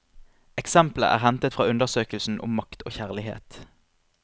Eksemplet er hentet fra undersøkelsen om makt og kjærlighet.